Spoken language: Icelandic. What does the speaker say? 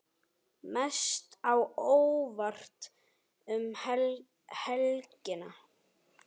Mest á óvart um helgina?